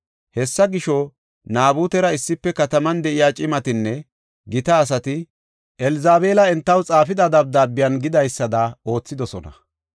Hessa gisho, Naabutera issife kataman de7iya cimatinne gita asati Elzabeela entaw xaafida dabdaabiyan gidaysada oothidosona.